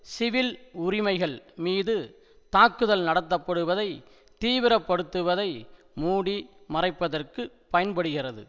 civil உரிமைகள் மீது தாக்குதல் நடத்தப்படுவதை தீவிரப்படுத்துவதை மூடி மறைப்பதற்கு பயன்படுகிறது